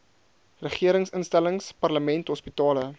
regeringsinstellings parlement hospitale